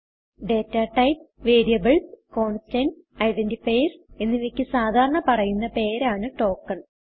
data types variables constants identifiers എന്നിവയ്ക്ക് സാധാരണ പറയുന്ന പേരാണ് ടോക്കൻ